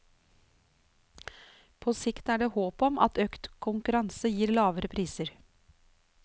På sikt er det håp om at økt konkurranse gir lavere priser.